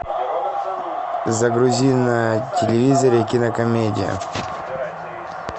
загрузи на телевизоре кинокомедию